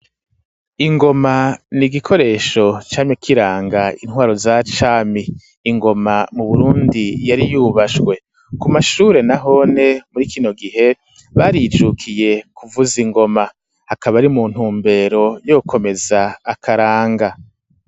Ingoma ni igikoresho camye kiranga intwaro za cami, ingoma mu Burundi yari yubashwe, ku mashure nahone muri kino gihe barijukiye kuvuza ingoma, hakaba ari mu ntumbero yo gukomeza akaranga.